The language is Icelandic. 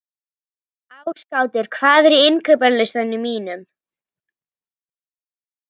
Ásgautur, hvað er á innkaupalistanum mínum?